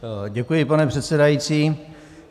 Děkuji, pane předsedající.